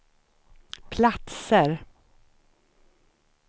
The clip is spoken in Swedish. platser